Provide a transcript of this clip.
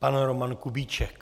Pan Roman Kubíček.